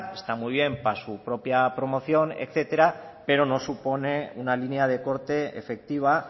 está muy bien para su propia promoción etcétera pero no supone una línea de corte efectiva